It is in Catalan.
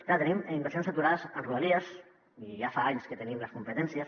clar tenim inversions aturades en rodalies i ja fa anys que en tenim les competències